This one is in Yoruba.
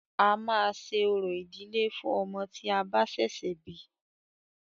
A máa ṣe orò ìdílé fún ọmọ tí a bá ṣẹ̀ṣẹ̀ bí.